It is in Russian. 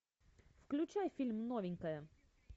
включай фильм новенькая